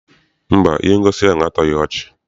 Mba, ihe ngosi ahụ atọghi ọchị.